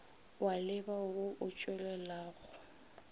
wa leba wo o tšwelelago